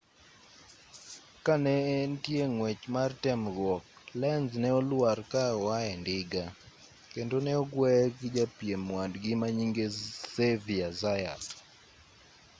ka ne entie ng'wech mar temruok lenz ne olwar ka oae ndiga kendo ne ogueye gi japiem wadgi manyinge xavier zayat